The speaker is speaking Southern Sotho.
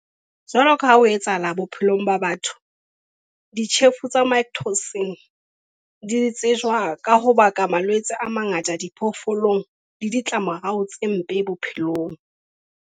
Jwalo ka ha ho etsahala bophelong ba batho, ditjhefo tsa mycotoxin di tsejwa ka ho baka malwetse a mangata a diphoofolo le ditlamorao tse mpe bophelong.